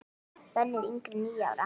Bönnuð yngri en níu ára.